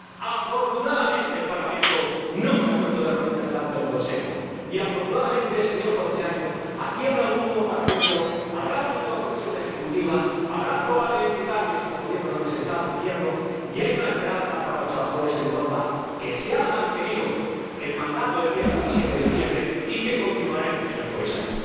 Afortunadamente, el Parlamento no se ha puesto de rodillas delante del Consejo y, afortunadamente, señor Comisario, aquí habrá un nuevo Parlamento, habrá una nueva Comisión ejecutiva, habrá probablemente cambios en los Gobiernos de los Estados miembros y hay una esperanza para los trabajadores en Europa que se ha mantenido el mandato del día 17 de diciembre y que continuaremos, señor Comisario.